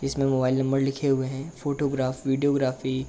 इस मे mobile number लिखे हुए हैं। Photography videography --